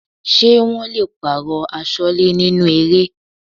Ṣé wọn le pààrọ̀ Aṣọ́lẹ́ nínú eré?